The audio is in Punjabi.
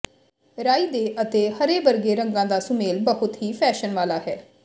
ਰਾਈ ਦੇ ਅਤੇ ਹਰੇ ਵਰਗੇ ਰੰਗਾਂ ਦਾ ਸੁਮੇਲ ਬਹੁਤ ਹੀ ਫੈਸ਼ਨ ਵਾਲਾ ਹੈ